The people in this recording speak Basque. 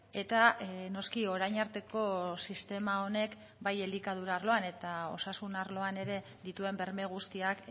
eta noski orain arteko sistema honek bai elikadura arloan eta osasun arloan ere dituen berme guztiak